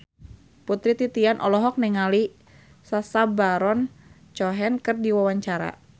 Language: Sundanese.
Putri Titian olohok ningali Sacha Baron Cohen keur diwawancara